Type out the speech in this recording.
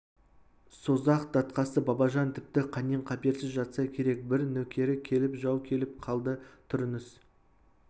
созақ датқасы бабажан тіпті қаннен-қаперсіз жатса керек бір нөкері келіп жау келіп қалды тұрыңыз